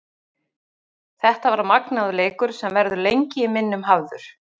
Þetta var magnaður leikur sem verður lengi í minnum hafður.